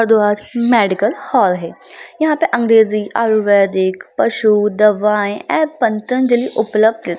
Bharadwaj medical hall है। यहाँ पे अँग्रेजी आयुर्वेदिक पशु दवाएं एवं पतंजलि उपलब्ध --